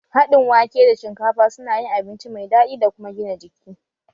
Haɗin wake da shinkafa su na yin abinci mai daɗi da kuma gina jiki